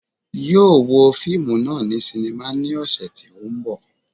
Yóò wo fíìmù náà ní sínímà ní ọ̀sẹ̀ tí ó ń bọ̀